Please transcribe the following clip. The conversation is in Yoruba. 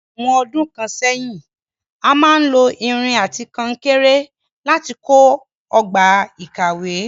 Ní àwon odún kan sẹ́hìn, a máa n lo irin àti kankéré láti kó ogbà ìkàwé